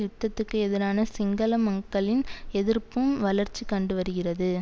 யுத்தத்துக்கு எதிரான சிங்கள மக்களின் எதிர்ப்பும் வளர்ச்சி கண்டுவருகின்றது